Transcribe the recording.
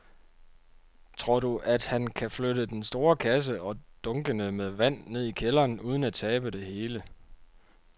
Tror du, at han kan flytte den store kasse og dunkene med vand ned i kælderen uden at tabe det hele?